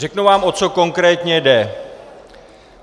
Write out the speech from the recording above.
Řeknu vám, o co konkrétně jde.